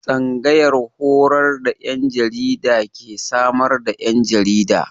Tsangayar horar da 'yan jarida ke samar da 'yan jarida.